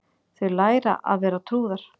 Þau læra að vera trúðar